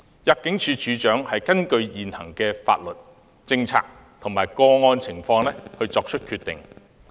入境處處長根據現行法律、政策及個案情況作出決定。